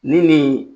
Ni nin